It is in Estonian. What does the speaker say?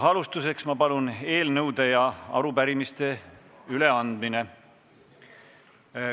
Alustuseks, ma palun, eelnõude ja arupärimiste üleandmine.